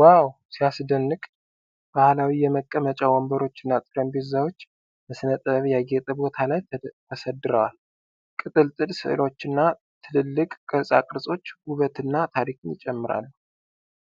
ዋው ሲያስደንቅ! ባህላዊ የመቀመጫ ወንበሮችና ጠረጴዛዎች በሥነ ጥበብ ያጌጠ ቦታ ላይ ተሰድረዋል። ቅጥልጥል ሥዕሎችና ትልልቅ ቅርጻ ቅርጾች ውበትና ታሪክን ይጨምራሉ።